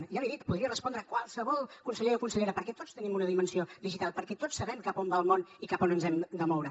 ja l’hi he dit podria respondre qualsevol conseller o consellera perquè tots tenim una dimensió digital perquè tots sabem cap a on va el món i cap a on ens hem de moure